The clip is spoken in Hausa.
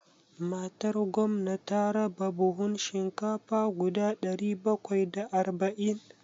Matar gwamna ta raba buhun shinkafa guda ɗari bakwai da arba'in.